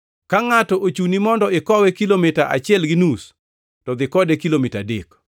Ka ngʼato ochuni mondo ikowe kilomita achiel gi nus to dhi kode kilomita adek.